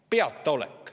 Peataolek!